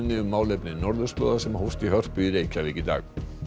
um málefni norðurslóða sem hófst í Hörpu í dag